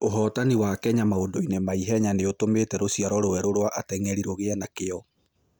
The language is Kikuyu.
Ũhootani wa Kenya maũndũ-inĩ ma ihenya nĩ ũtũmĩte rũciaro rwerũ rwa ateng'eri rũgĩe na kĩyo.